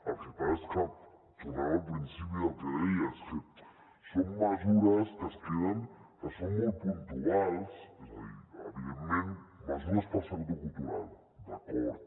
el que passa és que tornem al principi del que deia són mesures que es queden que són molt puntuals és a dir evidentment mesures per al sector cultural d’acord